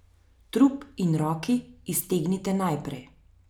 Trup in roki iztegnite naprej.